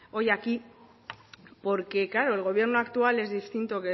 hoy aquí porque claro el gobierno actual es distinto